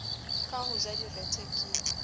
ka ho ja direthe ke